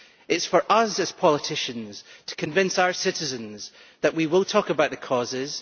It is for us as politicians to convince our citizens that we will talk about the causes